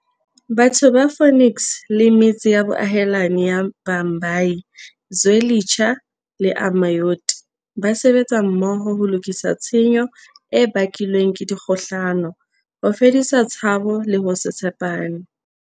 Batho ba Phoenix le metse ya boahelani ya Bhambayi, Zwe litsha le Amaoti ba sebetsa mmoho ho lokisa tshenyo e bakilweng ke dikgohlano, ho fedisa tshabo le ho se tshe pane.